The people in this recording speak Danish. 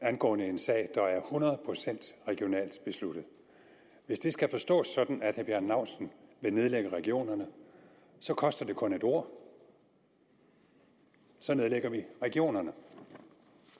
angående en sag der er hundrede procent regionalt besluttet skal forstås sådan at herre bjarne laustsen vil nedlægge regionerne så koster det kun et ord så nedlægger vi regionerne